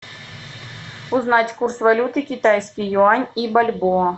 узнать курс валюты китайский юань и бальбоа